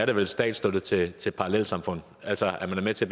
det vel statsstøtte til til parallelsamfund altså at man er med til